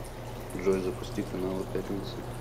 джой запусти каналы пятница